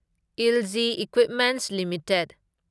LG equipments limited